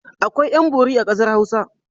Akwai ƴan-bori a ƙasar Hausa.